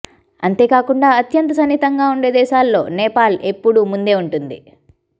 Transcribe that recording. అంతే కాకుండా అత్యంత సన్నిహితంగా ఉండే దేశాల్లో నేపాల్ ఎప్పుడు ముందే ఉంటుంది